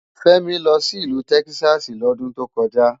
Femi lò si ilù Tèkisási lòdùn tókòjá